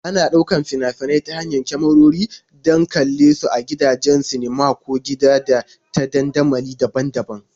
Ana ɗaukar fina-finai ta hanyar kyamarori don a kalle su a gidajen sinima ko a gida ta dandamali daban-daban.